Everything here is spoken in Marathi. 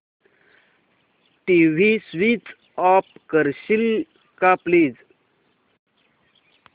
टीव्ही स्वीच ऑफ करशील का प्लीज